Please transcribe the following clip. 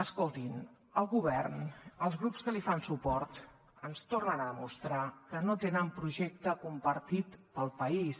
escoltin el govern els grups que li fan suport ens tornen a demostrar que no tenen projecte compartit al país